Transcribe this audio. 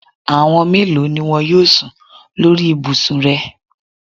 Àwọn mélòo ni wọn yóò sùn lórí ibùsùn rẹ?